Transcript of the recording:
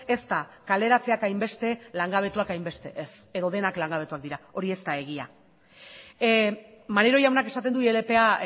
ez da kaleratzeak hainbeste langabetuak hainbeste ez edo denak langabetuak dira hori ez da egia maneiro jaunak esaten du ilpa